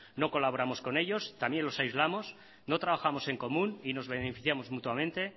no colaboramos con ellos también los aislamos no trabajamos en común y nos beneficiamos mutuamente